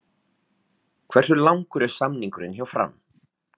Hversu langur er samningurinn hjá Fram?